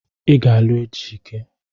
Ị ga-alụ Ejike!